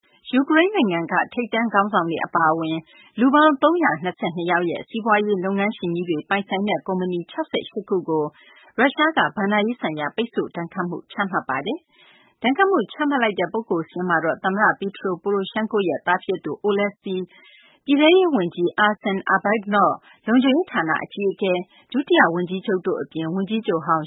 ယူကရိန်းနိုင်ငံက ထိပ်တန်းခေါင်းဆောင်တွေ အပါအဝင် လူပေါင်း ၃၂၂ ယောက်နဲ့ စီးပွားရေးလုပ်ငန်းရှင်ကြီးတွေ ပိုင်ဆိုင်တဲ့ ကုမ္ပဏီ ၆၈ ခုကို ရုရှားက ဘဏ္ဍာရေးဆိုင်ရာ ပိတ်ဆို့ဒဏ်ခတ်မှုတွေ ချမှတ်လိုက်ပါတယ်။ ဒဏ်ခတ်မှုချမှတ်လိုက်တဲ့ လူပုဂ္ဂိုလ်စာရင်းမှာတော့ သမ္မတ Petro Poroshenko ရဲ့ သားဖြစ်သူ Oleksiy ပြည်ထဲရေးဝန်ကြီး Arsen Avakov လုံခြုံရေးဌာနအကြီးအကဲ၊ ဒုတိယဝန်ကြီးချုပ် တို့အပြင် ဝန်ကြီးချုပ်ဟောင်